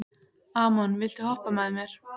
Amon, viltu hoppa með mér?